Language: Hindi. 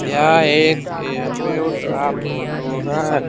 यह एक एयरपोयट का फोटो है।